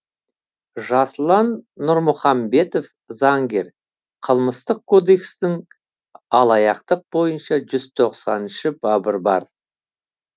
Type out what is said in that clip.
жасұлан нұрмұхамбетов заңгер қылмыстық кодекстің алаяқтық бойынша жүз тоқсаныншы бабы бар